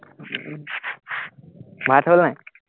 ভাত হ'ল নাই?